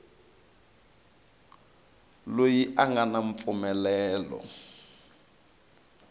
loyi a nga na mpfumelelo